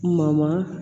Ma